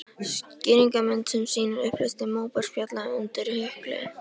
Skýringarmynd sem sýnir upphleðslu móbergsfjalla undir jökli.